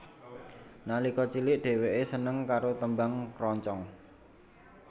Nalika cilik dheweke seneng karo tembang kroncong